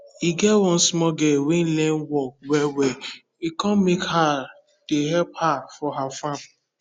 e get one small girl wen learn work well well e come make her dey help her for her farm